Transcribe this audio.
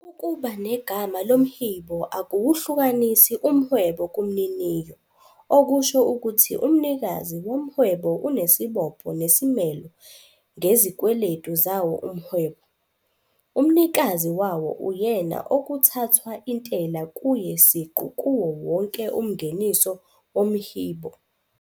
Ukuba negama lomhibo akuwuhlukanisi umhwebo kumniniyo, okusho ukuthi umnikazi womhwebo unesibopho nesimelo ngezikweletu zawo umhwebo. Umnikazi wawo uyena okuthathwa intela kuye siqu kuwo wonke umngeniso womhibo.